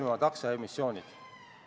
Avan läbirääkimised.